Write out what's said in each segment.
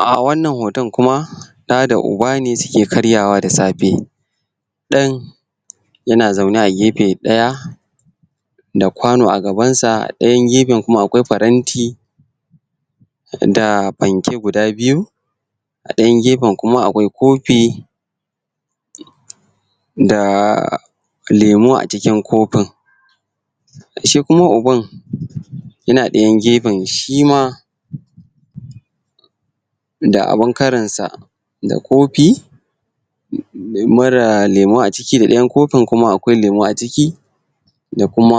um wannan hoton kuma da da ub ne suke karyawa da safe dan yana zaune a gefe ɗaya da kwano a gabansa ɗayan gefen kuma akwai paranti da panke guda biyu a dayan gefen kuma akwai kofi da lemo a cikin kofin shi kuma uban yana ɗayan gefen shima da abun karinsa da kofi mara lemo a ciki da ɗayan kofin kuma akwai lemo a ciki da kuma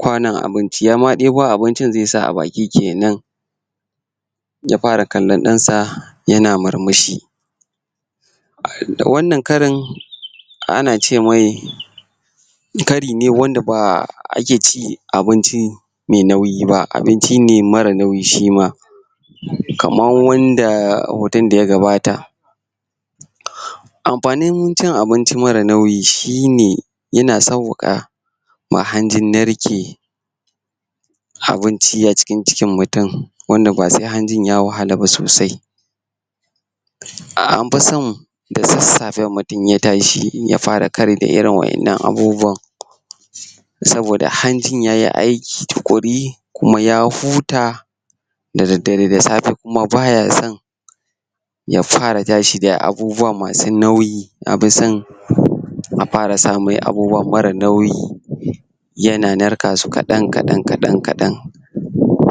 kwanon abinci yama debo abincin zai sa a baki kenan ya fara kallan ɗansa yana murmushi da wannan karin ana ce mai kari ne wanda ba ake ce abinci mai nauyi ba abinci ne mara nauyi shima kaman wanda hoton daya gabata amfanin cin abinci mara nauyi shine yana sauwaka ma hanjin narke abinci acikin cikin mutum wanda ba sai hanjin ya wahala ba sosai am fi son da sassafe mutum in ya tashi ya fara kari da irin wa'innan abubuwan saboda hanjin yayi aiki tuƙuri kuma ya huta da daddare da safe kuma baya son ya fara tashi da abubuwa masu nauyi an fi son ya fara sa mai abubuwa mara nauyi yana narka su kaɗan kaɗan kaɗan kaɗan kaɗan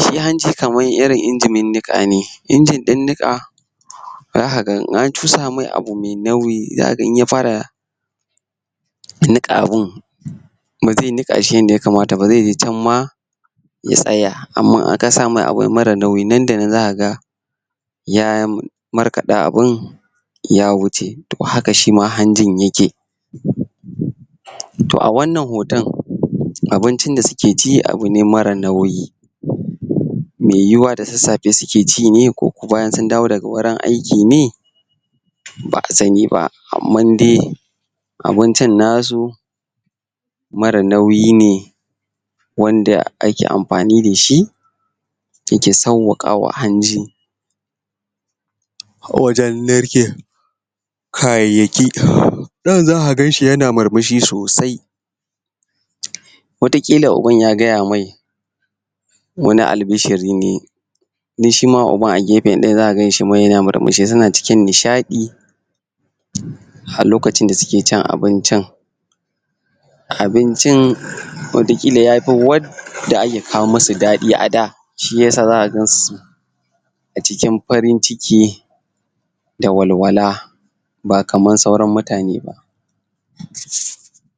shi hanji kaman irin injinin niƙa ne shi injin nika zaka gan in an cusa mai abu mai nauyi zakaga in ya fara niƙa abun ba ze niƙa shi yadda ya kamata ba zai je can ma ya tsaya amma in ka sa mai abu mara nauyi nan da nan zakaga ya markaɗa abun ya wuce to haka shima hanjin yake. to a wannan hoton abincin da suke ci abu ne mara nauyi me yiwuwa da sassafe suke ci ne ko kuma sun dawo daga wurin aiki ne ba'a sani ba amma dai abincin nasu mara nauyi ne wanda ake amfani dashi dake sauwaƙawa hanji wajen narke kayayyaki. Ɗan zaka ganshi yana murmushi sosai wata ƙila uban ya gaya mai wani albishiri ne don shima uban a gefe ɗaya zaka shima yana murmushi suna cikin nishaɗi a lokacin da suke cin abincin abincin wataƙila yafi wadda ake kawo masu daɗi a da shiyasa zaka gansu a cikin farin ciki da walwala ba kaman sauran mutane ba.